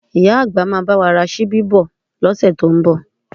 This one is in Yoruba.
Ìyá àgbà máa bá wa ra ṣíbí bọ̀ ní ọ̀sẹ̀ tó ń bọ̀